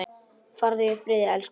Farðu í friði elsku amma.